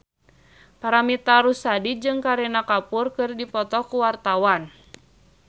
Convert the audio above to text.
Paramitha Rusady jeung Kareena Kapoor keur dipoto ku wartawan